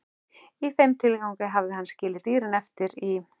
Í þeim tilgangi hafði hann skilið dýrin eftir í